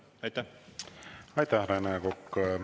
Aitäh, Rene Kokk!